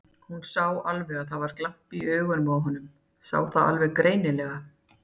Hún sá alveg að það var glampi í augunum á honum, sá það alveg greinilega.